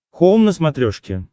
хоум на смотрешке